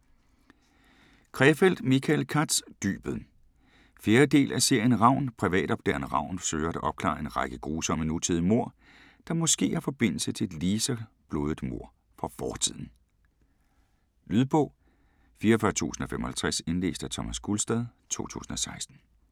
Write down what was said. Krefeld, Michael Katz: Dybet 4. del af serien Ravn. Privatopdageren Ravn søger at opklare en række grusomme nutidige mord, der måske har forbindelse til et ligeså blodigt mord fra fortiden. Lydbog 44055 Indlæst af Thomas Gulstad, 2016.